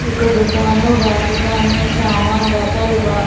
एगो दुकानो बा दुकान में सामान रखल बा।